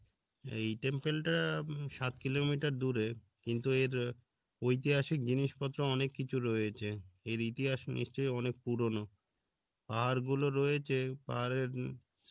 এই temple টা um সাত কিলোমিটার দূরে কিন্তু এর ঐতিহাসিক জিনিসপত্র অনেক কিছু রয়েছে এর ইতিহাস নিশ্চয় অনেক পুরনো পাহাড় গুলো রয়েছে পাহাড়ের